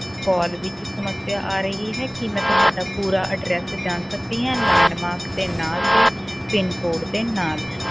Call ਵਿੱਚ ਸਮੱਸਿਆ ਆ ਰਹੀ ਹੈ ਕੀ ਮੈ ਤੁਹਾਡਾ ਪੂਰਾ address ਜਾਣ ਸਕਦੀ ਆ landmark ਦੇ ਨਾਲ ਤੇ PIN code ਦੇ ਨਾਲ